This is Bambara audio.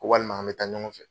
Ko walima an bɛ taa ɲɔgɔn fɛ.